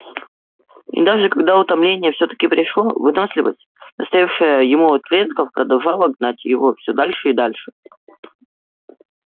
и даже когда утомление все таки пришло выносливость доставшаяся ему от предков продолжала гнать его все дальше и дальше